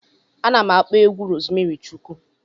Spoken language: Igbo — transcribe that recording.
Ana m akpọ egwu Rozmari Chukwu.